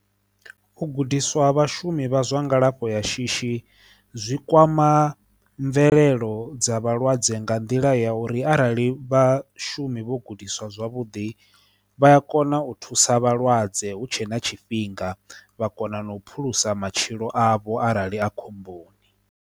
U gudiswa vhashumi vha zwa ngalafho ya shishi zwi kwama mvelelo dza vhalwadze nga nḓila ya uri arali vhashumi vho gudiswa zwavhuḓi vha a kona u thusa vhalwadze hu tshe na tshifhinga vha kona na u phulusa matshilo avho arali a khomboni.